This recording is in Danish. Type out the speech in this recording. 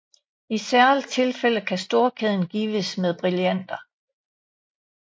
I særlige tilfælde kan storkæden gives med brillanter